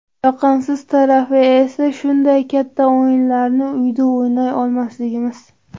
Yoqimsiz tarafi esa shunday katta o‘yinlarni uyda o‘ynay olmasligimiz.